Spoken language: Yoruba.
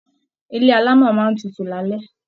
Ilé alámọ̀ máa n tútù l'alẹ.